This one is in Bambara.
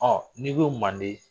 Ɔ n'i ko manden